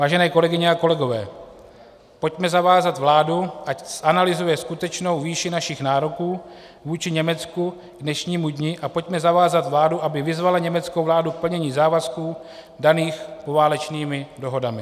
Vážené kolegyně a kolegové, pojďme zavázat vládu, ať zanalyzuje skutečnou výši našich nároků vůči Německu k dnešnímu dni, a pojďme zavázat vládu, aby vyzvala německou vládu k plnění závazků daných poválečnými dohodami.